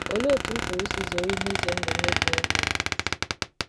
Olee otú m pụrụ isi zere ihe ize ndụ ndị dị n’Internet?